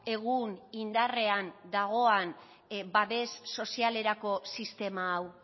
egun indarrean dagoan babes sozialerako sistema hau